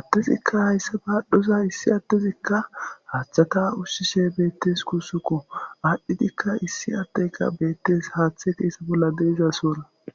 addezikka hayssa baadhdhoza issi addezikka haaththatha ushshishe beeththes guussakko; aadhdhidikka issi aaddyka beeththes; haaththepe bolla de7iza soora.